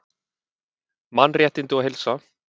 Mannréttindi og heilsa